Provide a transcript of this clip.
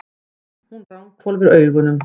Hún ranghvolfir augunum.